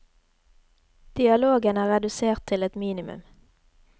Dialogen er redusert til et minimum.